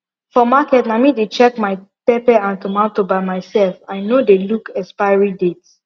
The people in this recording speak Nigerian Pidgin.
for market na me dey check my pepper and tomato by myself i no dey look expiry date